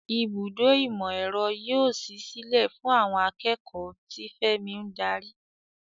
Ibùdó ìmọ̀-ẹ̀rọ yóò ṣí sílẹ̀ fún àwọn akẹ́kọ̀ọ́, tí Femi ń darí.